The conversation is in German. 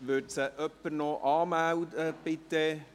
Würde sie bitte noch jemand anmelden?